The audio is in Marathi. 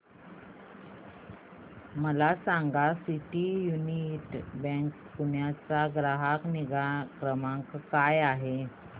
मला सांगा सिटी यूनियन बँक पुणे चा ग्राहक निगा क्रमांक काय आहे